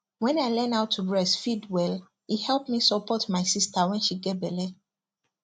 when i learn how to breastfeed welle help me support my sister when she get belle